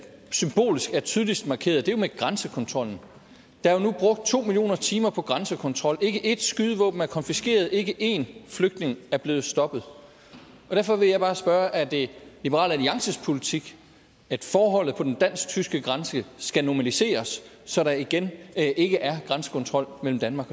symbolsk er tydeligst markeret er jo med grænsekontrollen der er nu brugt to million timer på grænsekontrol ikke et skydevåben er konfiskeret ikke en flygtning er blevet stoppet derfor vil jeg bare spørge er det liberal alliances politik at forholdene på den dansk tyske grænse skal normaliseres så der igen ikke er grænsekontrol mellem danmark